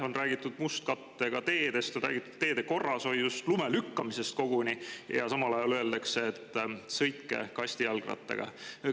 On räägitud mustkattega teedest, on räägitud teede korrashoiust, koguni lume lükkamisest, aga samal ajal öeldakse, et sõitke kastijalgrattaga.